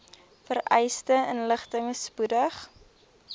vereiste inligting spoedig